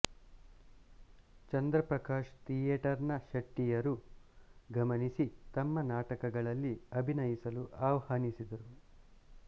ಚಂದ್ರ Prakash theatre ನ ಶೆಟ್ಟಿಯವರು ಗಮನಿಸಿ ತಮ್ಮ ನಾಟಕಗಳಲ್ಲಿ ಅಭಿನಯಿಸಲು ಆಹ್ವಾನಿಸಿದರು